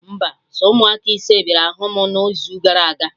Mba, sọ ụmụaka ise bịara hụ mụ na izu gara aga